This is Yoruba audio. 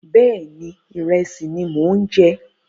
Bẹ́ẹ̀ni, ìrẹsì ni mò ń jẹ